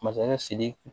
Masakɛ sidiki